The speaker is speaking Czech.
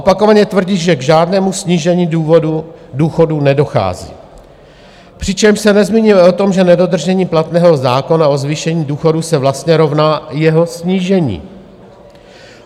Opakovaně tvrdí, že k žádnému snížení důchodů nedochází, přičemž se nezmiňuje o tom, že nedodržení platného zákona o zvýšení důchodů se vlastně rovná jeho snížení.